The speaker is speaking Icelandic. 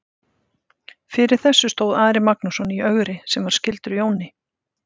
Fyrir þessu stóð Ari Magnússon í Ögri sem var skyldur Jóni.